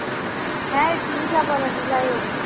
হ্যাঁ যাই হোক।